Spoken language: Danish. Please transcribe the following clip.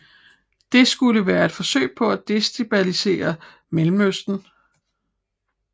Det skulle være et forsøg på at destabilisere Mellemøsten